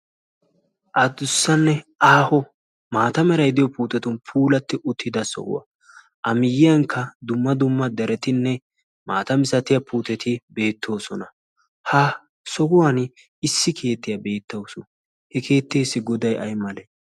addussanne aaho maatamerai diyo puutetun puulatti uttida sohuwaa a miyyiyankka dumma dumma daretinne maata misatiya puuteti beettoosona. ha sohuwan issi keettiyaa beettawusu he keetteessi godai ai male?